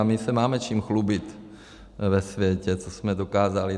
A my se máme čím chlubit ve světě, co jsme dokázali.